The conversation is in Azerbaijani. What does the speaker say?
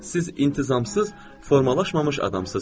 Siz intizamsız, formalaşmamış adamsınız.